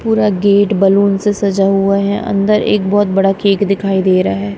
पूरा gate balloon से सजा हुआ है अंदर एक बहुत बड़ा केक दिखाई दे रहा है।